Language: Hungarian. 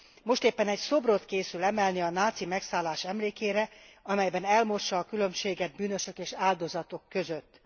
Most éppen egy szobrot készül emelni a náci megszállás emlékére, amelyben elmossa a különbséget bűnösök és áldozatok között.